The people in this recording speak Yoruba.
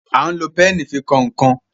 a lò Pẹ́ẹ̀nì fí kọkan.